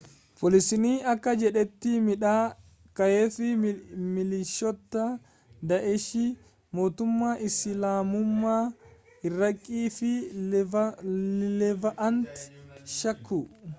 poolisiin akka jedhetti miidhaa gaheef milishoota daa’eshii mootummaa isilaamummaa iraaqii fi leevaant shakku